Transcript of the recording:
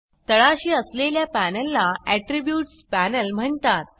तळाशी असलेल्या पॅनलला आट्रिब्यूट्स पॅनल म्हणतात